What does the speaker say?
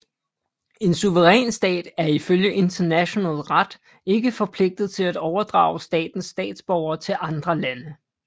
En suveræn stat er ifølge international ret ikke forpligtet til at overdrage statens statsborgere til andre lande